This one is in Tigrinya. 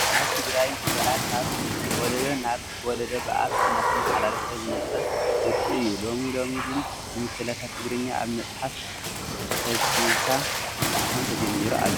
ኣብ ትግራይ ምስላ ካብ ወለዶ ናብ ወለደ ብኣፍ እናተመሓላለፈ ዝመፀ ውርሲ እዩ፡፡ ሎሚ ሎሚ ግን ንምስላታት ትግርኛ ኣብ መፅሓፍ ሰብሲብካ ምሕታም ተጀሚሩ ኣሎ፡፡